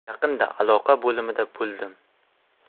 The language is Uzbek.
Yaqinda aloqa bo‘limida bo‘ldim.